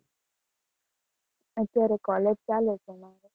અત્યારે collage ચાલે છે મારે.